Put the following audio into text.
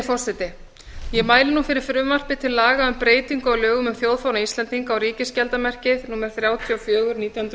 forseti ég mæli nú fyrir frumvarpi til laga um breytingu á lögum um þjóðfána íslendinga og ríkisskjaldarmerkið númer þrjátíu og fjögur nítján hundruð